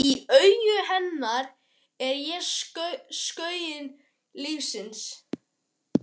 Í augum hennar er ég skuggi lífsins.